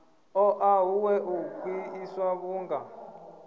ṱoḓa huṅwe u khwiṋiswa vhunga